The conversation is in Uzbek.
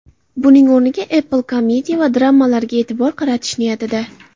Buning o‘rniga Apple komediya va dramalarga e’tibor qaratish niyatida.